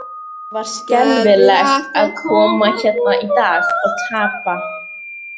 Það var skelfilegt að koma hérna í dag og tapa.